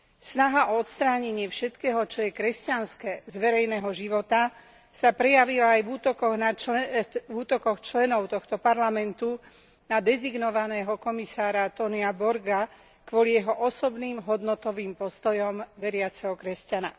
Snaha o odstránenie všetkého, čo je kresťanské, z verejného života sa prejavila aj v útokoch členov tohto Parlamentu na dezignovaného Komisára Tonia Borga kvôli jeho osobným hodnotovým postojom veriaceho kresťana.